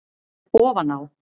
Ofan á